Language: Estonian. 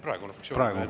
Praegu fraktsiooni nimel.